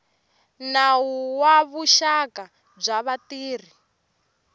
nawu wa vuxaka bya vatirhi